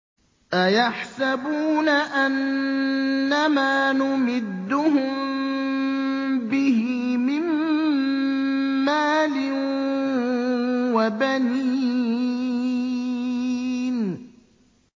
أَيَحْسَبُونَ أَنَّمَا نُمِدُّهُم بِهِ مِن مَّالٍ وَبَنِينَ